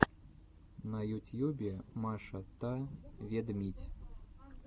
на ютьюбе маша та ведмидь